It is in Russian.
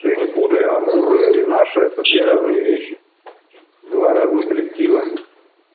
ты не путай амур и наш этот две разные вещи два разных коллектива